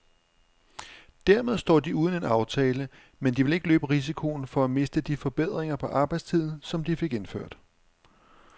Dermed står de uden en aftale, men de vil ikke løbe risikoen for at miste de forbedringer på arbejdstiden, som de fik indført.